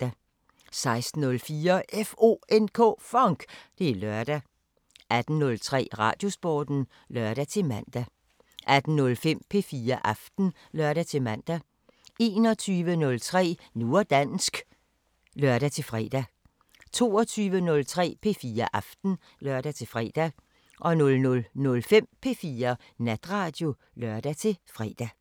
16:04: FONK! Det er lørdag 18:03: Radiosporten (lør-man) 18:05: P4 Aften (lør-man) 21:03: Nu og dansk (lør-fre) 22:03: P4 Aften (lør-fre) 00:05: P4 Natradio (lør-fre)